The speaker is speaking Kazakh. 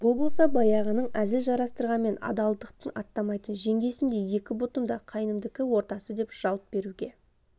бұл болса баяғының әзіл жарыстырғанмен адалдықтан аттамайтын жеңгесіндей екі бұтым да қайнымдікі ортасы деп жалт беруге